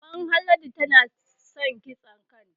Maman Haladu tana san kitsa kanta